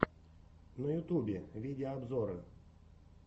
на ютубе видеообзоры